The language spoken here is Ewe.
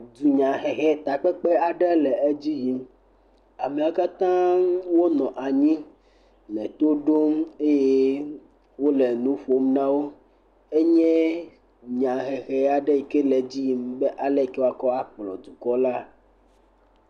Edunya hehe, takpekpe aɖe le edzi yim. Ameawo kata wole anyi le to ɖom eye wole nu ƒom na wo. Enye nya hehe aɖe yike le edzi yim be ali yike woakɔ akplɔ dukɔ la.